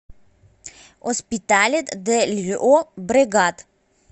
оспиталет де льобрегат